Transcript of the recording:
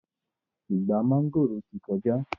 Ìgbà mángòrò ti kọjá